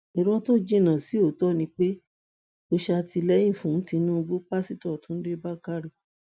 irọ́ tó jìnnà sí òótọ ni pé mò ń ṣàtìlẹyìn fún tinubu pásítọ túnde bàkárẹ